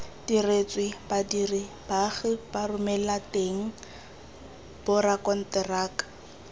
diretswe badiri baagi baromelateng borakonteraka